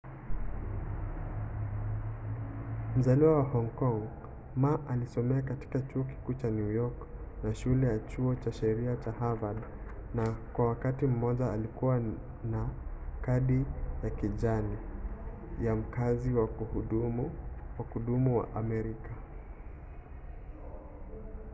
mzaliwa wa hong kong ma alisomea katika kituo kikuu cha new york na shule ya chuo cha sheria cha harvard na kwa wakati mmoja alikuwa na kadi ya kijani” ya mkazi wa kudumu wa amerika